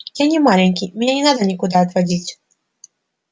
я не маленький меня не надо никуда отводить